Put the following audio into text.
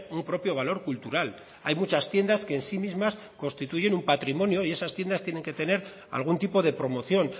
un propio valor cultural hay muchas tiendas que en sí mismas constituyen un patrimonio y esas tiendas tienen que tener algún tipo de promoción